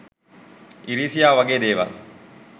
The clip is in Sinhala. ඉරිසියාව වගේ දේවල්